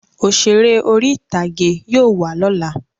Òṣèré orí-ìtàgé yóò wá lọ́la